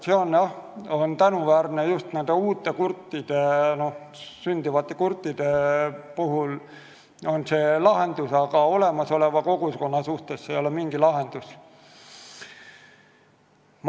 See on lahendus kurdina sündinud laste jaoks, aga täiskasvanute jaoks see ei ole mingi lahendus.